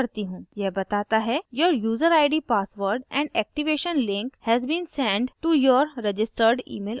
मैं इसे थोड़ा बड़ा करती हूँ यह बताता है your userid password and activation link has been send to your registered email id